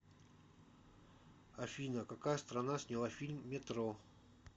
афина какая страна сняла фильм метро